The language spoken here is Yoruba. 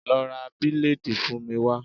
Lọ ra bileedi fún mi wá.